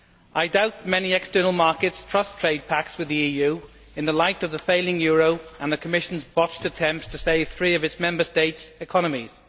I doubt whether many external markets trust trade packages with the EU in the light of the failing euro and the Commission's botched attempts to save three of its Member States' economies.